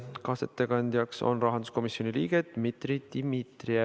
Kaasettekandjaks on rahanduskomisjoni liige Dmitri Dmitrijev.